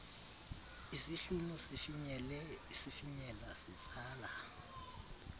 isihlunu sifinyela sitsala